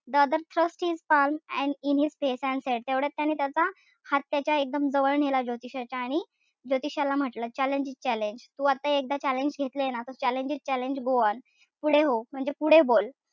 The other thrust his palm in his face and said तेवढ्यात त्याने त्याचा हात त्याच्या एकदम जवळ नेला ज्योतिषाच्या. आणि ज्योतिषाला म्हंटल challenge is challenge. तू आता एकदा challenge घेतलं ना त challenge is challenge go on. पुढे हो म्हणजे पुढे बोल.